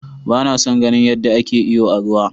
Ba na son ganin yadda ake iyo a ruwa.